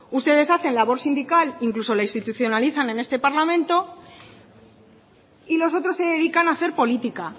ustedes hacen la labor sindical incluso la institucionalizan en este parlamento y los otros se dedican a hacer política